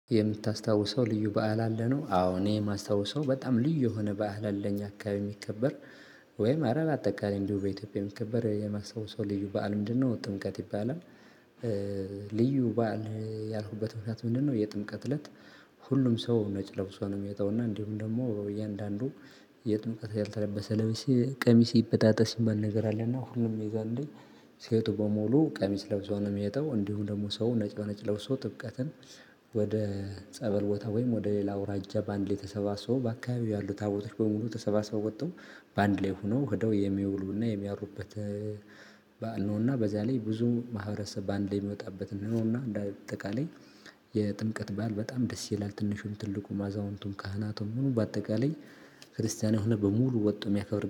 የምታስታውሰው ልዩ በዓል አለ ነው። አዎ እኔ የማስታውሰው በጣም ልዩ የሆነ በዓል አለ እኛ አካባቢ የሚከበር ወይም እንዲሁ በአጠቃላይ የሚከበር የማስታወሰው ልዪ በዓል ምንድን ነው? ጥምቀት ይባላል። ልዩ በዓል ያልኩበት ምክንያት ምንድነው? የጥምቀት እለት ሁሉም ሰው ነጭ ለብሶ ነው። የሚወጣው እና እንዲሁም ደግሞ እያንዳንዱ የጥምቀት ያልተለበሰ ቀሚስ ይበጣጠስ የሚባል ነገር አለና ሁሉም የዛኔ ሴቱ በሙሉ ቀሚስ ለብሶ ነው የሚወጣው። እንዲሁ ደግሞ ሰው ነጭ በነጭ ለብሶ ጥምቀትን ወደ ጸበል ቦታ ወይም ወደ ሌላ ወረጃ በአንድ ላይ ተሰባሰበው በአካባቢው ያሉ ታቦቶች በሙሉ ተሰባሰቡ ወጠው በአንድ ላይ ሆኖ ሄደው የሚውሉ እና የሚያድሩበት። በዓል ነውና በዚያ ላይ ብዙ ማህበረሰብ በአንዴ የሚወጣበት ነውና። እንደው እንዳ ጠቃለይ የጥምቀት በዓል በጣም ደስ ይላል ትንሹም ትልቁም አዛውንቱም ካህናቱም ሁሉ በአጠቃለይ ክርስቲያን የሆነ በሙሉ ወጦ የሚያከብር